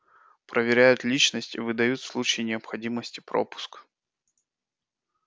проверяют личность и выдают в случае необходимости пропуск